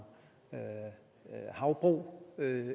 havbrug